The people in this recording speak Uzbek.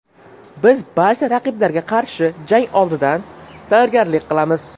Biz barcha raqiblarga qarshi jang oldidan tayyorgarlik qilamiz.